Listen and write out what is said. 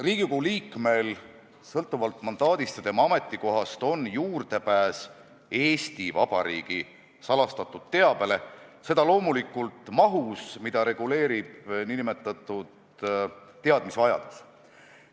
Riigikogu liikmel on sõltuvalt mandaadist ja ametikohast juurdepääs Eesti Vabariigi salastatud teabele, seda loomulikult mahus, mida reguleerib nn teadmisvajadus.